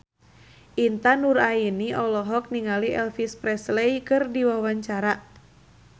Intan Nuraini olohok ningali Elvis Presley keur diwawancara